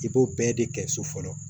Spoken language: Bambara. I b'o bɛɛ de kɛ so fɔlɔ